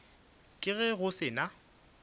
ka ge go se na